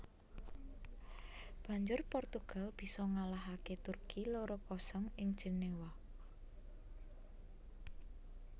Banjur Portugal bisa ngalahaké Turki loro kosong ing Jenéwa